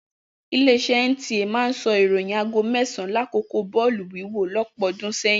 Ilé-iṣẹ́ NTA máa ń sọ ìròyìn aago mẹ́sàn-an lákòókò bọ́ọ̀lù wíwọ̀ lọ́pọ̀ ọdún sẹ́yìn.